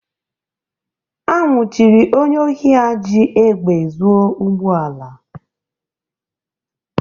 A nwụchiri onye ohi a ji egbe zuo ụgbọ ala.